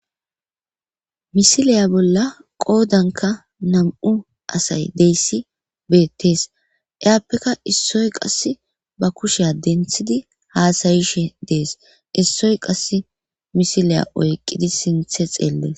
Miisiliya bolla qoodankka nam'u asay deyssi beettees eyappeka issoy qass ba kusheya denthidi haasayishe dees issoy qass misiliya oyqqidi siinththe xeellees